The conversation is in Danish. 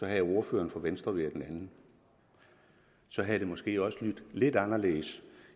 havde ordføreren for venstre været en anden så havde det måske også lydt lidt anderledes